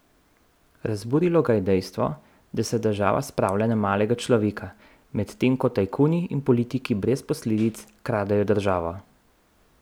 Razburilo ga je dejstvo, da se država spravlja na malega človeka, medtem ko tajkuni in politiki brez posledic kradejo državo.